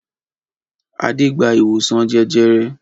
Adé gba ìwòsàn jẹjẹrẹ?